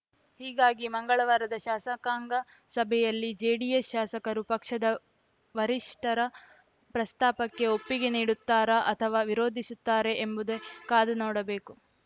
ಹೀಗಾಗಿ ಮಂಗಳವಾರದ ಶಾಸಕಾಂಗ ಸಭೆಯಲ್ಲಿ ಜೆಡಿಎಸ್‌ ಶಾಸಕರು ಪಕ್ಷದ ವರಿಷ್ಠರ ಪ್ರಸ್ತಾಪಕ್ಕೆ ಒಪ್ಪಿಗೆ ನೀಡುತ್ತಾರಾ ಅಥವಾ ವಿರೋಧಿಸುತ್ತಾರೆ ಎಂಬುದೆ ಕಾದು ನೋಡಬೇಕು